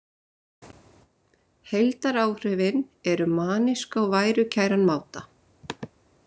Heildaráhrifin eru manísk á værukæran máta